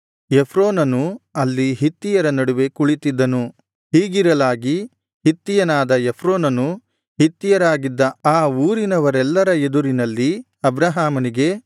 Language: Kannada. ಎಫ್ರೋನನು ಅಲ್ಲಿ ಹಿತ್ತಿಯರ ನಡುವೆ ಕುಳಿತಿದ್ದನು ಹೀಗಿರಲಾಗಿ ಹಿತ್ತಿಯನಾದ ಎಫ್ರೋನನು ಹಿತ್ತಿಯರಾಗಿದ್ದ ಆ ಊರಿನವರೆಲ್ಲರ ಎದುರಿನಲ್ಲಿ ಅಬ್ರಹಾಮನಿಗೆ